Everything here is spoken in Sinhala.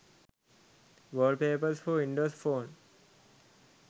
wallpapers for windows phone